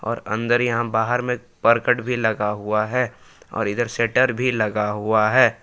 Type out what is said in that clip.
और अंदर यहां बाहर में करकट भी लगा हुआ है और इधर शेटर भी लगा हुआ है।